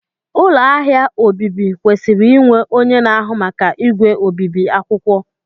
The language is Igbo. ụlọ ahịa obibi kwesịrị inwe onye na-ahụ maka igwe obibi akwụkwọ